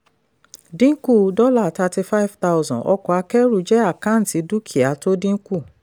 dínkù dollar thirty five thousand ọkọ̀ akẹ́rù jẹ́ àkáǹtì dúkìá tó dínkù.